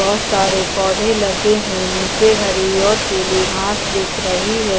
बहुत सारे पौधे लगे हैं नीचे हरी और पीली घास दिख रही है।